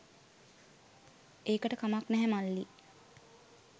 ඒකට කමක් නැහැ මල්ලී